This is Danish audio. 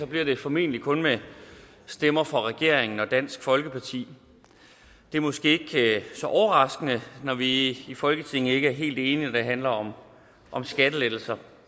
bliver det formentlig kun med stemmer fra regeringen og dansk folkeparti det er måske ikke så overraskende når vi i folketinget ikke er helt enige når det handler om om skattelettelser